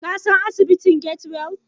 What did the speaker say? Ka san asibitin Get-well?